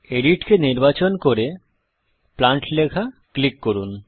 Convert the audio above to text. এডিটকে নির্বাচন করে প্লান্ট লেখা ক্লিক করুন